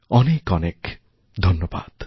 অনেক অনেক ধন্যবাদ